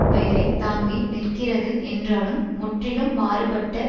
பெயரை தாங்கி நிற்கிறது என்றாலும் முற்றிலும் மாறுபட்ட